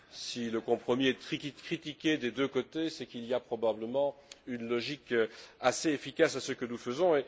Si le compromis est critiqué des deux côtés, c'est qu'il y a probablement une logique assez efficace à ce que nous faisons.